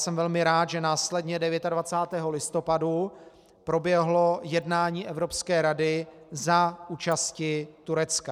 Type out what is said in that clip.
Jsem velmi rád, že následně 29. listopadu proběhlo jednání Evropské rady za účasti Turecka.